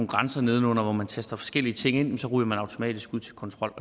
grænser nedenunder hvor man taster forskellige ting ind og så ryger man automatisk ud til kontrol